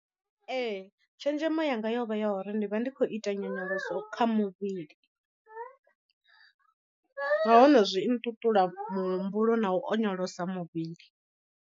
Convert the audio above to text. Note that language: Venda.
Ee tshenzhemo yanga yovha ya uri ndi vha ndi khou ita nyonyoloso kha muvhili, nahone zwi nṱuṱula muhumbulo na u onyolosa muvhili.